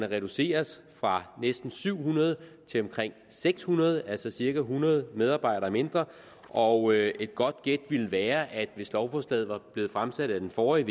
reduceres fra næsten syv hundrede til omkring seks hundrede altså cirka hundrede medarbejdere mindre og et godt gæt ville være at hvis lovforslaget var blevet fremsat af den forrige